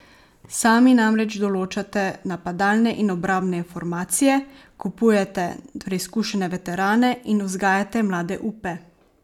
Sami namreč določate napadalne in obrambne formacije, kupujete preizkušene veterane in vzgajate mlade upe.